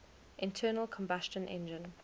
internal combustion engine